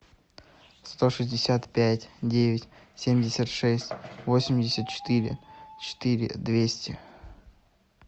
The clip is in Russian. сто шестьдесят пять девять семьдесят шесть восемьдесят четыре четыре двести